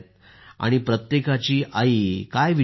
आणि प्रत्येकाची आई काय विचार करत असेल